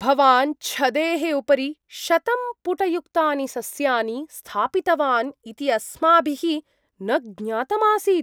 भवान् छदेः उपरि शतं पुटयुक्तानि सस्यानि स्थापितवान् इति अस्माभिः न ज्ञातमासीत्।